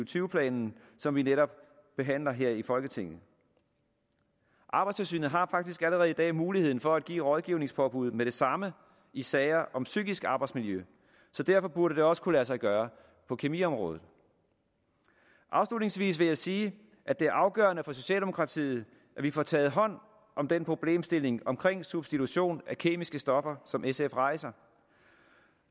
tyve planen som vi netop behandler her i folketinget arbejdstilsynet har faktisk allerede i dag muligheden for at give rådgivningspåbud med det samme i sager om psykisk arbejdsmiljø så derfor burde det også kunne lade sig gøre på kemiområdet afslutningsvis vil jeg sige at det er afgørende for socialdemokratiet at vi får taget hånd om den problemstilling om substitution af kemiske stoffer som sf rejser